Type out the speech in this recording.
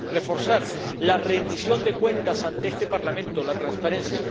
y para reforzar la rendición de cuentas ante este Parlamento, la transparencia